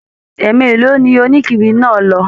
Ẹ mélòó ni onikiri náà lọ?